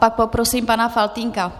Pak poprosím pana Faltýnka.